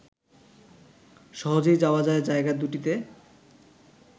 সহজেই যাওয়া যায় জায়গা দুটিতে